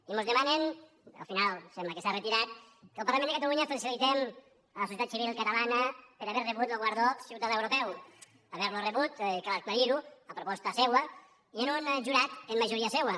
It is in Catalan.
i mos demanen al final sembla que s’ha retirat que el parlament de catalunya felicitem la societat civil catalana per haver rebut lo guardó ciutadà europeu haver lo rebut cal aclarir ho a proposta seua i amb un jurat amb majoria seua